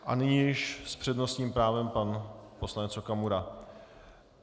A nyní již s přednostním právem pan poslanec Okamura.